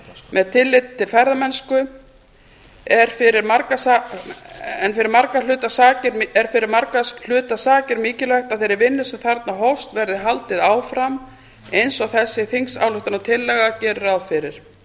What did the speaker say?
með tilliti til ferðamennsku er fyrir margra hluta sakir mikilvægt að þeirri vinnu sem þarna hófst verði haldið áfram eins og þessi þingsályktunartillaga gerir ráð fyrir